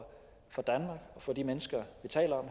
for de mennesker vi taler